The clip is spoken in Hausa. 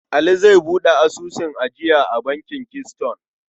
Aliyu zai buɗe asusun ajiya a bankin Keystone.